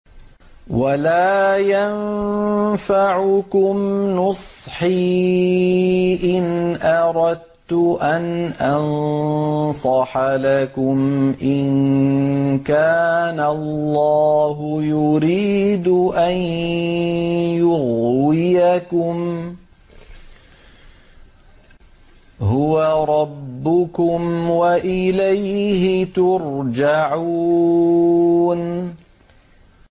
وَلَا يَنفَعُكُمْ نُصْحِي إِنْ أَرَدتُّ أَنْ أَنصَحَ لَكُمْ إِن كَانَ اللَّهُ يُرِيدُ أَن يُغْوِيَكُمْ ۚ هُوَ رَبُّكُمْ وَإِلَيْهِ تُرْجَعُونَ